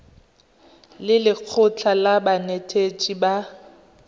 le lekgotlha la banetetshi ba